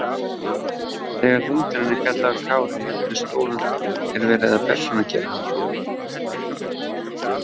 Þegar vindurinn er kallaður Kári með stórum staf er verið að persónugera hann.